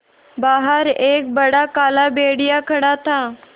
बाहर एक बड़ा काला भेड़िया खड़ा था